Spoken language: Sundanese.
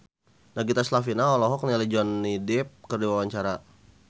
Nagita Slavina olohok ningali Johnny Depp keur diwawancara